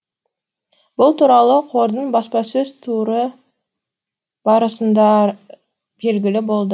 бұл туралы қордың баспасөз туры барысында белгілі болды